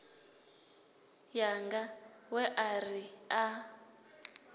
yanga we a ri a